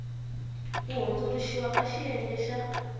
ku hundzuluxiwa ka xiyenge xa